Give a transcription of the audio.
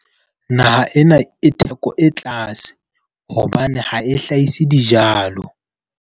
Naha ena e theko e tlase hobane ha e hlahise dijalo.